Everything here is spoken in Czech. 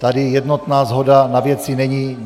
Tady jednotná shoda na věci není.